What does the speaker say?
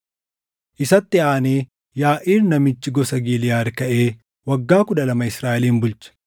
Isatti aanee Yaaʼiir namichi gosa Giliʼaad kaʼee waggaa kudha lama Israaʼelin bulche;